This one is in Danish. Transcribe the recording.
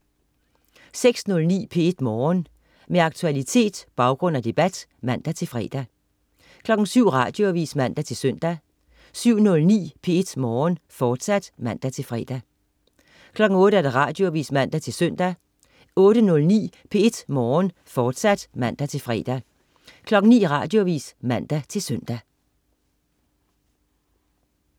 06.09 P1 Morgen. Med aktualitet, baggrund og debat (man-fre) 07.00 Radioavis (man-søn) 07.09 P1 Morgen, fortsat (man-fre) 08.00 Radioavis (man-søn) 08.09 P1 Morgen, fortsat (man-fre) 09.00 Radioavis (man-søn)